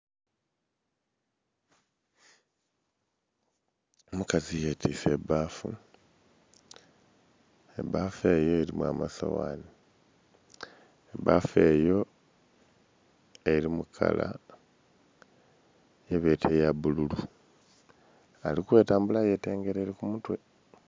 Omukazi yetise ebafu, ebafu eyo erimu amasoghanhi. Bafu eyo eri mu kala gye beta eya bululu ali kwetambulila yetengereire ku mutwe.